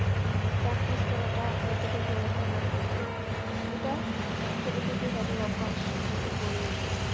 মানে practice করাটা ততটা জড়তা কাজ করবে না। এটা ছোট থেকেই তাদের অভ্যাস হয়ে গড়ে উঠবে।